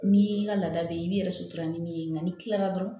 Ni i ka laada be yen i b'i yɛrɛ sutura ni min ye ŋa n'i kilala dɔrɔn